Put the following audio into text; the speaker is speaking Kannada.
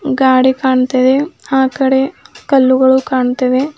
ಗಾಡಿ ಕಾಣ್ತಿದೆ ಆ ಕಡೆ ಕಲ್ಲುಗಳು ಕಾನತ್ತಿವೆ.